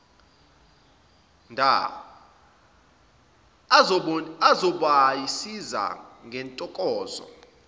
dha azobasiza ngentokozo